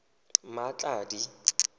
mmatladi